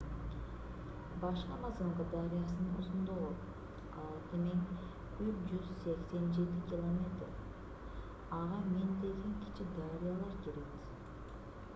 башкы амазонка дарыясынын узундугу 6,387 км. 3,980 миля. ага миңдеген кичи дарыялар кирет